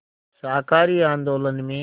शाकाहारी आंदोलन में